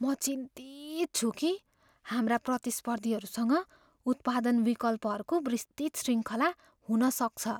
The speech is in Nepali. म चिन्तित छु कि हाम्रा प्रतिस्पर्धीहरूसँग उत्पादन विकल्पहरूको विस्तृत श्रृङ्खला हुन सक्छ।